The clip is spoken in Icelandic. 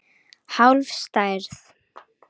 Hálf stærð.